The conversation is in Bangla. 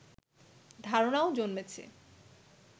ধারনাও জন্মেছে